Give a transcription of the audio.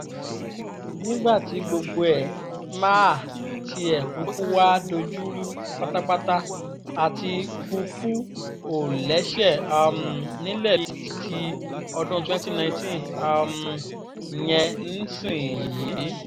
nígbà tí gbogbo ẹ̀ máà tiẹ̀ kúkú wáá dojúrú pátápátá àtikukú ò lẹ́sẹ̀ um nílẹ̀ ti ọdún twenty nineteen um yẹn nísìnyìí